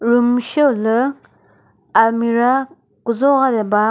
room sheo lü almirah kuzo ra de ba.